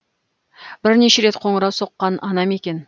бірнеше рет қоңырау соққан анам екен